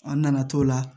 An nana t'o la